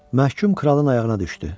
Məhkum kralın ayağına düşdü.